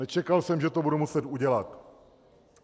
Nečekal jsem, že to budu muset udělat.